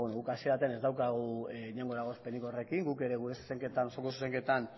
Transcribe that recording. ba guk hasiera batean ez daukagu inongo eragozpenik horrekin guk ere gure osoko zuzenketan